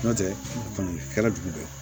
N'o tɛ kɔni kɛra dugu dɔ la